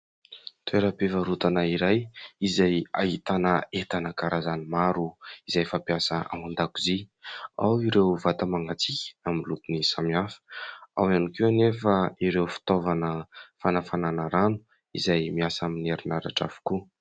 Toeram-pivarotana iray izay ahitana entana karazany maro izay fampiasa ao an-dakozia. Ao ireo vata mangatsiaka amin'ny lokony samihafa ao ihany koa anefa ireo fitaovana fanafanana rano izay miasa amin'ny herinaratra avokoa.